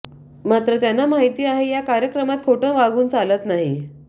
मात्र त्यांना माहिती आहे या कार्यक्रमात खोटं वागून चालत नाही